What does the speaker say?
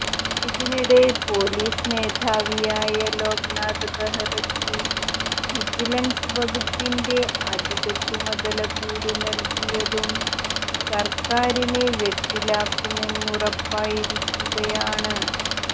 ഇതിനിടെ പൊലീസ് മേധാവിയായ ലോക്നാഥ് ബഹ്റയ്ക്ക് വിജിലൻസ് വകുപ്പിന്റെ അധിക ചുമതല കൂടി നൽകിയതും സർക്കാരിനെ വെട്ടിലാക്കുമെന്നുറപ്പായിരിക്കുകയാണ്